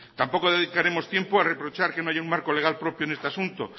tampoco dedicaremos tiempo a reprochar que no haya un marco legal propio en este asunto